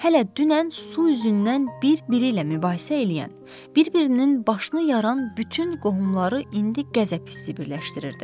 Hələ dünən su üzündən bir-biri ilə mübahisə eləyən, bir-birinin başını yaran bütün qohumları indi qəzəb hissi birləşdirirdi.